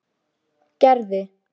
Gerði